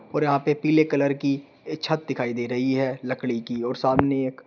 और यहां पे पीले कलर की छत दिखाई दे रही है लकड़ी की और सामने एक--